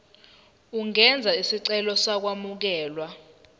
ungenza isicelo sokwamukelwa